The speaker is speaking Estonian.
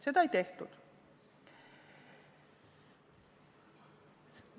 Seda ei tehtud.